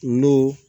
N'o